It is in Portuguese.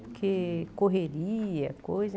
Porque correria, coisa.